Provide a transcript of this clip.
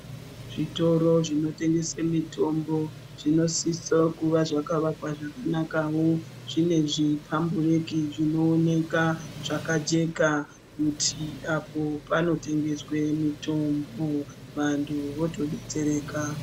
Zvitoro zvino tengese mitombo zvinosisa kuva zvakarongwa zvakanakawo zvine zvi pambureki zvino oneka zvakajeka kuti apo pano tengeswe mitombo vantu voto detsereka.